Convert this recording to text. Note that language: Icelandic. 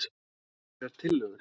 Einhverjar tillögur??